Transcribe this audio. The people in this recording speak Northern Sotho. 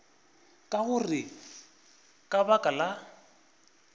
ka gore ka baka la